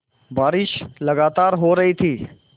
बारिश लगातार हो रही थी